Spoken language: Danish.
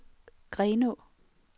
Grenaa